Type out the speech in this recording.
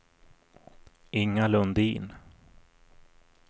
Inga Lundin